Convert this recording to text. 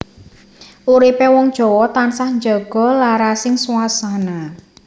Uripé wong Jawa tansah njaga larasing swasana